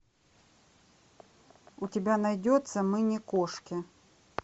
у тебя найдется мы не кошки